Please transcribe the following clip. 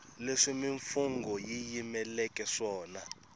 leswi mimfungho yi yimeleke swona